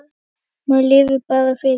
Maður lifir bara fyrir daginn.